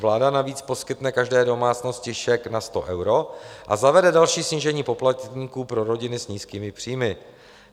Vláda navíc poskytne každé domácnosti šek na 100 eur a zavede další snížení poplatků pro rodiny s nízkými příjmy.